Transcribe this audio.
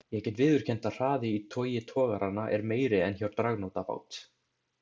Ég get viðurkennt að hraði í togi togaranna er meiri en hjá dragnótabát.